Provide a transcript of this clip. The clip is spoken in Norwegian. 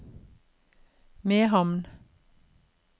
Mehamn